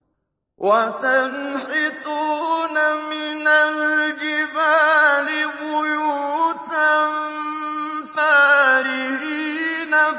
وَتَنْحِتُونَ مِنَ الْجِبَالِ بُيُوتًا فَارِهِينَ